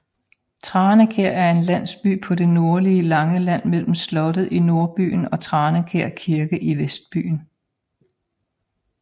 Tranekær er en landsby på det nordlige Langeland mellem slottet i nordbyen og Tranekær Kirke i vestbyen